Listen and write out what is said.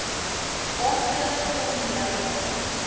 aandele ton druiwe